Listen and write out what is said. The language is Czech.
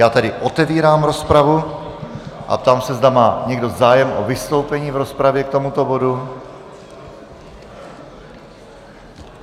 Já tedy otevírám rozpravu a ptám se, zda má někdo zájem o vystoupení v rozpravě k tomuto bodu.